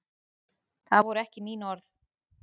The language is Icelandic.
Það voru ekki mín orð